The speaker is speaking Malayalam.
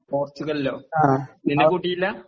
പോർച്ചുഗലിലോ നിന്നെ കൂട്ടിയില്ലാ